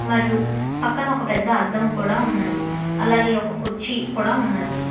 మరియు పక్కన ఒక పెద్ద అద్దం కూడా ఉన్నది అలాగే ఒక కుర్చీ కూడా ఉన్నది.